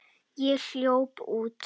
Ég hljóp út.